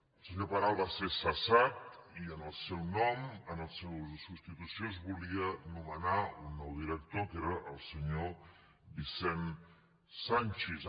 el senyor peral va ser cessat i en la seva substitució es volia nomenar un nou director que era el senyor vicent sanchis